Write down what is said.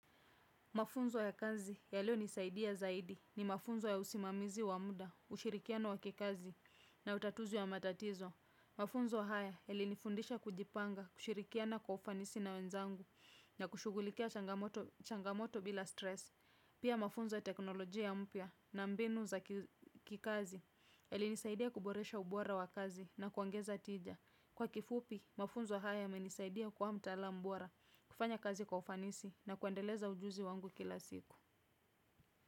Mafunzo ya kazi yaliyonisaidia zaidi ni mafunzo ya usimamizi wa muda, ushirikiano wa kikazi na utatuzi wa matatizo. Mafunzo haya yalinifundisha kujipanga, kushirikiana kwa ufanisi na wenzangu na kushughulikia changamoto bila stress. Pia mafunzo ya teknoloji mpya na mbinu za kikazi yalinisaidia kuboresha ubora wa kazi na kuangeza tija. Kwa kifupi, mafunzo haya yamenisaidia kuwa mtaalam bora, kufanya kazi kwa ufanisi na kuendeleza ujuzi wangu kila siku.